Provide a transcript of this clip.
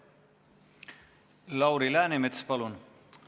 Lauri Läänemets, palun!